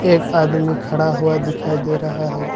एक आदमी खड़ा हुआ दिखाई दे रहा है।